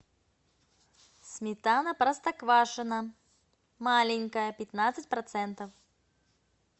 сметана простоквашино маленькая пятнадцать процентов